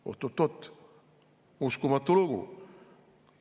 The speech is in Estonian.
Oot-oot-oot, uskumatu lugu!